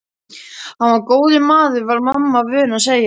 Hann var góður maður var mamma vön að segja.